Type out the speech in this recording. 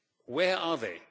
Where are they?